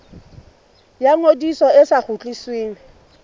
ya ngodiso e sa kgutlisweng